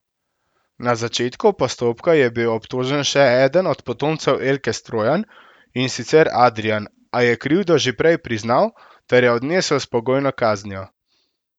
Na začetku postopka je bil obtožen še eden od potomcev Elke Strojan, in sicer Adrijan, a je krivdo že prej priznal ter jo odnesel s pogojno kaznijo.